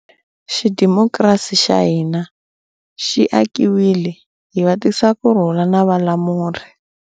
Xidimokirasi xa hina xi akiwile hi vatisakurhula na valamuri.